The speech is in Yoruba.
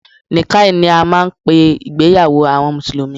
Nikkah ni a máà ń pé ìgbéyàwó àwọn mùsùlùmí.